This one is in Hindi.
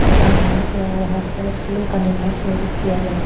इसके निर्माण के आधार पर इस किले का निर्माण सुयोजित किया जाएगा।